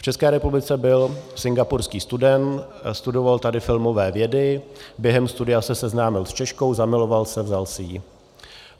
V České republice byl singapurský student, studoval tady filmové vědy, během studia se seznámil s Češkou, zamiloval se, vzal si ji.